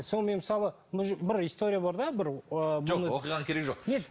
сол мен мысалы бір история бар да бір ы жоқ оқиғаның керегі жоқ